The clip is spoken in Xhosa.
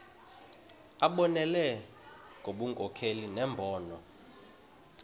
abonelele ngobunkokheli nembono